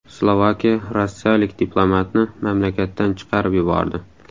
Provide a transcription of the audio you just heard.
Slovakiya rossiyalik diplomatni mamlakatdan chiqarib yubordi.